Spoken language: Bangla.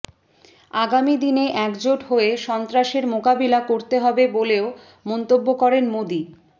আগামী দিনে একজোট হয়ে সন্ত্রাসের মোকাবিলা করতে হবে বলেও মন্তব্য করেন মোদী